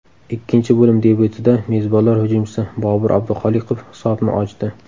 Ikkinchi bo‘lim debyutida mezbonlar hujumchisi Bobur Abduxoliqov hisobni ochdi.